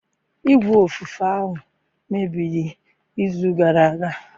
Igwe ofufe ahụ mebiri izu gara aga.